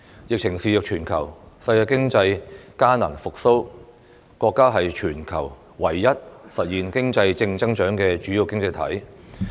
疫情肆虐全球，世界經濟艱難復蘇，國家是全球唯一實現經濟正增長的主要經濟體。